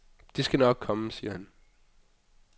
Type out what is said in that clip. Det skal nok komme, siger han.